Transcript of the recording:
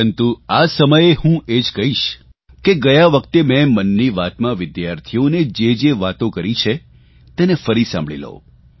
પરંતુ આ સમયે હું એ જ કહીશ કે ગયા વખતે મેં મન કી બાતમાં વિદ્યાર્થીઓને જે જે વાતો કરી છે તેને ફરી સાંભળી લો